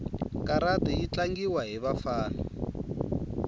karati yitlangiwa hhivafana